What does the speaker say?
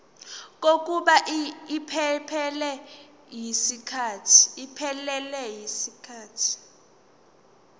kokuba iphelele yisikhathi